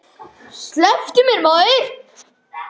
Slepptu mér maður.